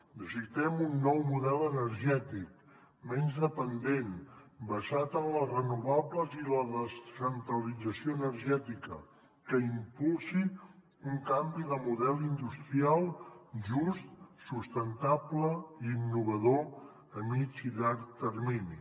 necessitem un nou model energètic menys dependent basat en les renovables i la descentralització energètica que impulsi un canvi de model industrial just sustentable i innovador a mitjà i llarg termini